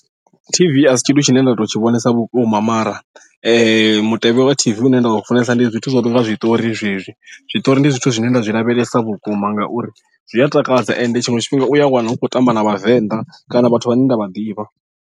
T_V asi tshithu tshine nda to tshi vhonesa vhukuma mara mutevhe wa T_V une nda u funesa ndi zwithu zwo no nga zwiṱori zwezwi zwiṱori ndi zwithu zwine nda zwi lavhelesa vhukuma ngauri zwi a takadza ende tshiṅwe tshifhinga u ya wana hu khou tamba na vhavenḓa kana vhathu vhane nda vha ḓivha.